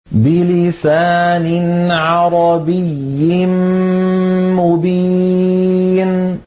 بِلِسَانٍ عَرَبِيٍّ مُّبِينٍ